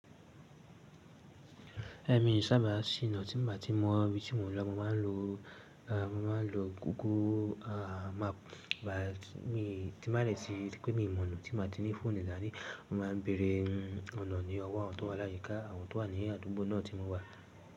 Èmi i sábà ṣ'iná tí mo bá ti mọ ibi tí mò ń lọ, mo máa ń lo, mo máa ń lo google, à map ba ti má lè rí pé mi mọ̀ ọ̀nà tí mo ti ní fún ní ìdáná, mo máa ń bèèrè ọ̀nà ní ọwọ́ àwọn tó wà láyíká àwọn tó wà ní àdúgbò náà tí mo wà.